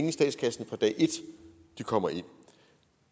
i statskassen fra dag et de kommer ind